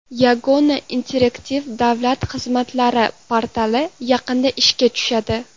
Yagona interaktiv davlat xizmatlari portali yaqinda ishga tushadi.